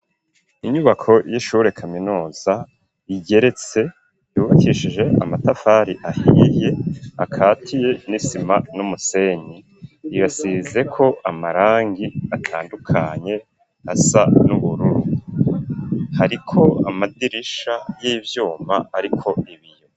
Inyubako y'ishure kaminuza ,igeretse, yubakishije amatafari ahiye, akatiye n'isima n'umusenyi, irasizeko amarangi atandukanye asa n'ubururu, hariko amadirisha y'ivyuma ariko ibiyo.